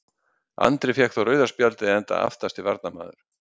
Andri fékk þó rauða spjaldið enda aftasti varnarmaður.